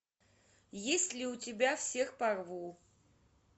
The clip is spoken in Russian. есть ли у тебя всех порву